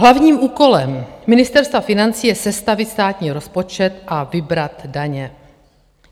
Hlavním úkolem Ministerstva financí je sestavit státní rozpočet a vybrat daně.